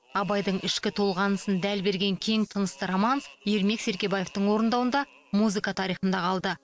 абайдың ішкі толғанысын дәл берген кең тынысты романс ермек серкебаевтың орындауында музыка тарихында қалды